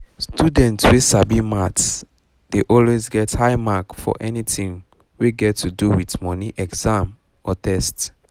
students wey sabi maths dey always get high mark for anything wey get to do with money exam or test